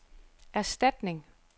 erstatning